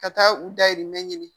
Ka taa u dahirimɛ ɲini